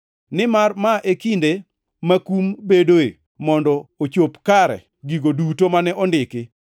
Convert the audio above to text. Nimar ma e kinde ma kum bedoe mondo ochop kare gigo duto mane ondiki.